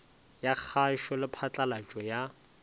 ya kgašo le phatlalatšo ya